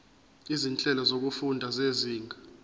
izinhlelo zokufunda zezinga